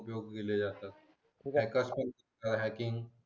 उपयोग केले जातात हॅकर्स पण हॅकिंग